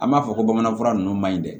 An b'a fɔ ko bamananfura ninnu maɲi dɛ